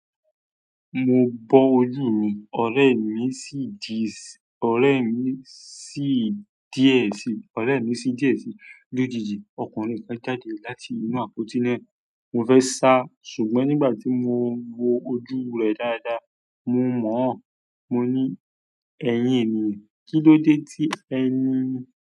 Mo bọ́ ojú mi, ọ̀rẹ́ mi sì dìísì, ọ̀rẹ́ mi sì dìísì, ọ̀rẹ́ mi sì dìísì lójijì. Ọkùnrin kan jáde láti inú àpótí náà. Mo fẹ́ sá, ṣùgbọ́n nígbà tí mo wo ojú rẹ̀ dáadáa, mo mọ̀ ọ́n. Mo ní, "Ẹ̀yin ènìyàn, kílódé tí ẹ ni?"